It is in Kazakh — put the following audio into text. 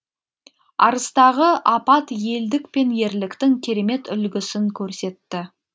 арыстағы апат елдік пен ерліктің керемет үлгісін көрсетті